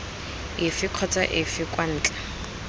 efe kgotsa efe kwa ntle